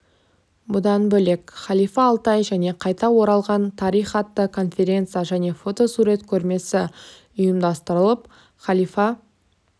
бұдан бөлек халифа алтай және қайта оралған тарих атты конференция және фотосурет көрмесі ұйымдастырылып халифа